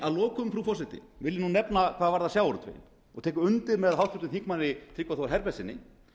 að lokum frú forseti vil ég nefna hvað varðar sjávarútveginn og tek undir með háttvirtum þingmanni tryggva þór herbertssyni